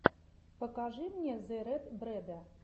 покажи мне зе рэд брэда